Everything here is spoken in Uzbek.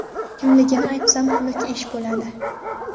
Kimligini aytsam xunuk ish bo‘ladi.